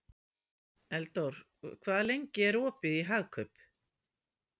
Eldór, hvað er lengi opið í Hagkaup?